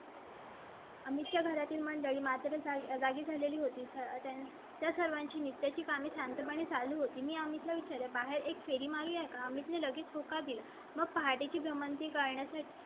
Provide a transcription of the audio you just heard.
आम्ही त्या घरातील मंडळी माझ्या जागी झालेली होती. त्या सर्वांची नित्या ची कामे शांतपणे चालू होती. मी आमच्या विचारां बाहेर एक फिल्म आहे. आम्ही लगेच होकार दिला. मग पार्टी ची भ्रमंती करण्यासाठी